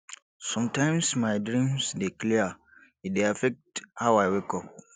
sometimes my dreams dey clear e dey affect how i wake up